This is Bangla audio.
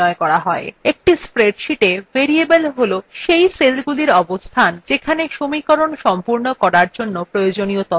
একটি spreadsheeta ভেরিয়েবল cell cell সেলগুলির অবস্থান যেখানে সমীকরণ সম্পূর্ণ করার জন্য প্রয়োজনীয় তথ্য থাকে